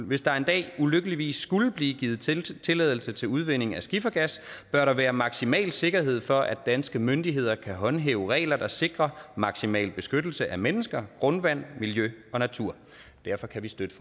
hvis der en dag ulykkeligvis skulle blive givet tilladelse tilladelse til udvinding af skifergas bør der være maksimal sikkerhed for at danske myndigheder kan håndhæve regler der sikrer maksimal beskyttelse af mennesker grundvand miljø og natur derfor kan vi støtte